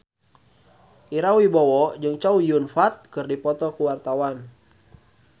Ira Wibowo jeung Chow Yun Fat keur dipoto ku wartawan